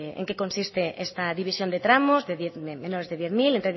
en qué consiste esta división de tramos de menos de diez mil entre diez